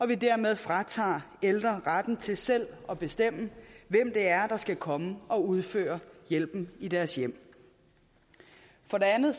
vi dermed fratager ældre retten til selv at bestemme hvem det er der skal komme og udføre hjælpen i deres hjem for det andet